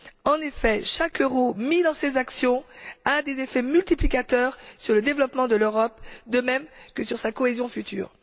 En effet, chaque euro investi dans ces actions a des effets multiplicateurs sur le développement de l'Europe de même que sur sa cohésion future.